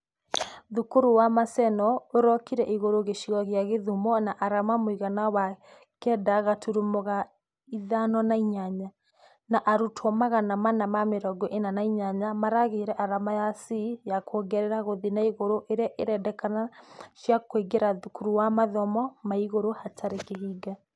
Thukuru wa maseno ĩrũkire igũrũ gĩcigo gĩa gĩthumo na arama mũiganano wa kenda gaturumo ga ithano na inyanya . Na arutwo magana mana na mĩrongo ĩna na inyanya makegĩa arama ya C ya kuongerera gũthia na igũrũ iria cirendekana cia kũmaingĩria thukuru wa mathomo ma igũrũ hatarĩ kĩhinga......